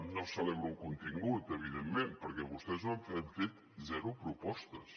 no celebro el contingut evidentment perquè vostès han fet zero propostes